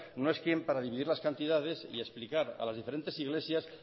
no es quién para dividir las cantidades y explicar a las diferentes iglesias